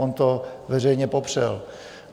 On to veřejně popřel.